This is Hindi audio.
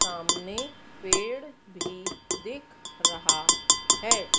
सामने पेड़ भी दिख रहा है।